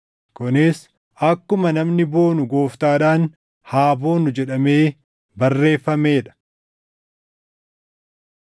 Kunis akkuma, “Namni boonu Gooftaadhaan haa boonu” + 1:31 \+xt Erm 9:24\+xt* jedhamee barreeffamee dha.